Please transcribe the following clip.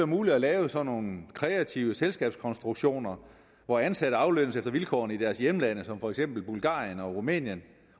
muligt at lave sådan nogle kreative selskabskonstruktioner hvor ansatte aflønnes efter vilkårene i deres hjemland for eksempel bulgarien og rumænien